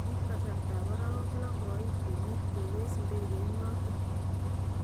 kiib kasarta ab arawek loo koit kenyit kokees ndekeit noton.